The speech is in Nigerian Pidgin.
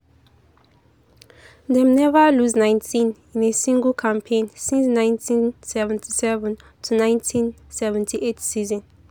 dem neva lose 19 in a single campaign since 1977-1978 season.